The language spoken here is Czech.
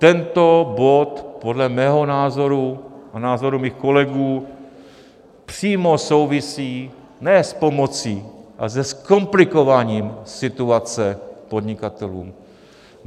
Tento bod podle mého názoru a názoru mých kolegů přímo souvisí ne s pomocí, ale se zkomplikováním situace podnikatelům.